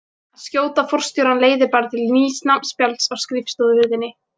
Að skjóta forstjórann leiðir bara til nýs nafnspjalds á skrifstofuhurðinni.